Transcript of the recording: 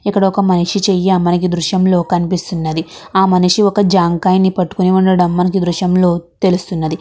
ఇక్కడ ఒక మనిషి చెయ్యి మనకి ధృష్యంలో కనిపిస్తున్నది. ఆ మనిషి ఒక జామకాయని పట్టుకొని ఉండడం మనకి దృశ్యంలో తెలుస్తున్నది.